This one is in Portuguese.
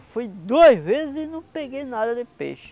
Eu fui duas vezes e não peguei nada de peixe.